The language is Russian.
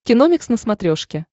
киномикс на смотрешке